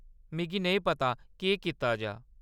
मिगी नेईं पता केह्‌‌ कीता जा।